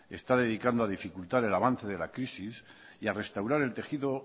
está dedicando a dificultar el avance de la crisis y a restaurar el tejido